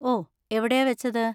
ഓ, എവിടെയാ വെച്ചത്?